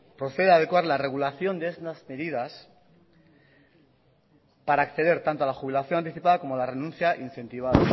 proceda adecuar la regulación de estas medidas para acceder tanto a la jubilación anticipada como a la renuncia incentivada